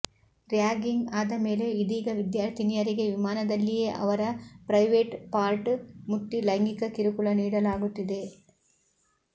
ragging ಆದ ಮೇಲೆ ಇದೀಗ ವಿದ್ಯಾರ್ಥಿನಿಯರಿಗೆ ವಿಮಾನದಲ್ಲಿಯೇ ಅವರ ಪ್ರೈವೇಟ್ ಪಾರ್ಟ್ ಮುಟ್ಟಿ ಲೈಂಗಿಕ ಕಿರುಕುಳ ನೀಡಲಾಗುತ್ತಿದೆ